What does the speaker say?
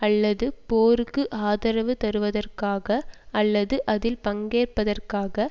அல்லது போருக்கு ஆதரவு தருவதற்காக அல்லது அதில் பங்கேற்பதற்காக